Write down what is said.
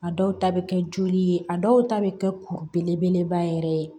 A dɔw ta bɛ kɛ joli ye a dɔw ta bɛ kɛ kuru belebeleba yɛrɛ ye